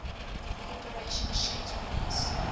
corporation shipped release